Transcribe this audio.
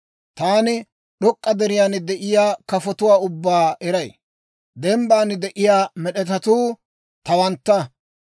Taani d'ok'k'a deriyaan de'iyaa kafotuwaa ubbaa eray; dembban de'iyaa med'etetsatuu tawantta.